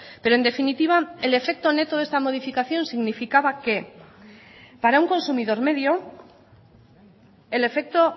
pero en definitiva el efecto neto de esta modificación significaba que para un consumidor medio el efecto